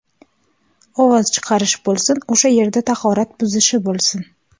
Ovoz chiqarish bo‘lsin, o‘sha yerda tahorat buzishi bo‘lsin.